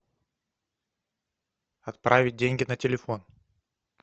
отправить деньги на телефон